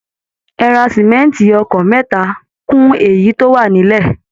Ẹ ra simẹnti ọkọ̀ mẹ́ta kún èyí tó wà nílẹ̀